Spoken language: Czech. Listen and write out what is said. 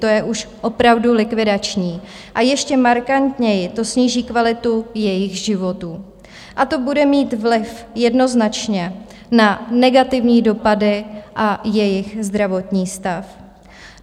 To je už opravdu likvidační a ještě markantněji to sníží kvalitu jejich životů a to bude mít vliv jednoznačně na negativní dopady a jejich zdravotní stav.